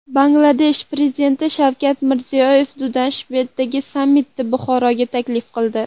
Bangladesh prezidenti: Shavkat Mirziyoyev Dushanbedagi sammitda Buxoroga taklif qildi.